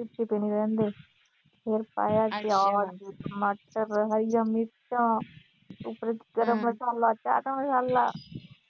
ਫਿਰ ਪਾਇਆ ਪਿਆਜ, ਟਮਾਟਰ, ਹਰੀਆਂ ਮਿਰਚਾਂ ਉਪਰੋਂ ਗਰਮ ਮਸਾਲਾ, ਚਾਟ ਮਸਾਲਾ